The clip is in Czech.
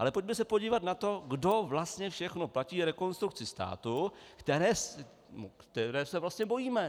Ale pojďme se podívat na to, kdo vlastně všechno platí Rekonstrukci státu, které se vlastně bojíme.